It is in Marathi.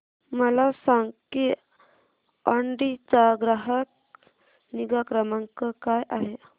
मला सांग की ऑडी चा ग्राहक निगा क्रमांक काय आहे